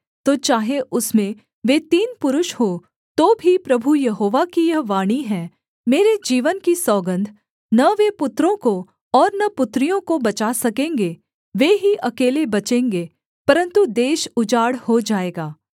तो चाहे उसमें वे तीन पुरुष हों तो भी प्रभु यहोवा की यह वाणी है मेरे जीवन की सौगन्ध न वे पुत्रों को और न पुत्रियों को बचा सकेंगे वे ही अकेले बचेंगे परन्तु देश उजाड़ हो जाएगा